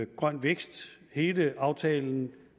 grøn vækst hele aftalen